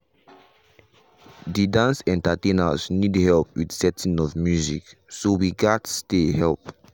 de dance entertainers need help with setting of music so we gas stay help.